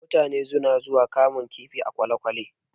Mutane suna zuwa kamun kifi a kwalekwale